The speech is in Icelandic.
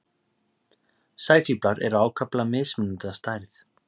Sæfíflar eru ákaflega mismunandi að stærð.